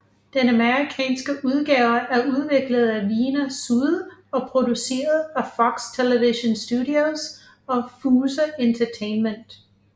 Den amerikanske udgave er udviklet af Veena Sud og produceret af Fox Television Studios og Fuse Entertainment